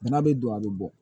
Bana be don a be bɔ